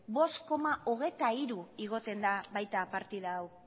bost koma hogeita hiru igotzen da baita partida hau